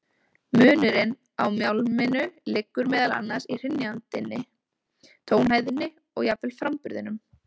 Munurinn á mjálminu liggur meðal annars í hrynjandinni, tónhæðinni og jafnvel framburðinum.